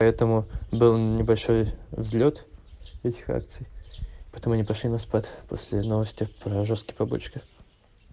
поэтому был небольшой взлёт этих акций потом они пошли на спад после новости про жёсткий побочки